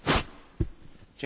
Pani Przewodnicząca!